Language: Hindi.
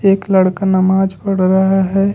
एक लड़का नमाज पढ़ रहा है।